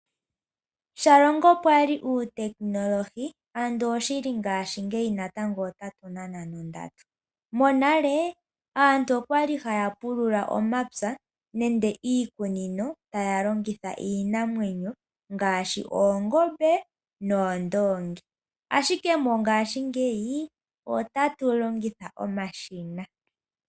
Shalongo pwali uutekinolohi, andola oshili ngaashingeyi otatu nana nondatu. Monale aantu oyali haya pulula omapya nande iikunino, taya longitha iinamwenyo ngaashi oongombe noondongi ashike mongaashingeyi otatu longitha omashina.